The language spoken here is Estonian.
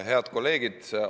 Head kolleegid!